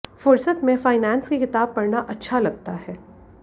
फुरसत में फाइनेंस की किताब पढऩा अच्छा लगता है